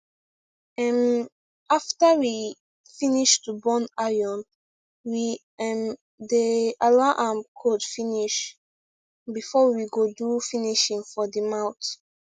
um after we finish to burn iron we um dey allow am cold first before we do finishing for de mouth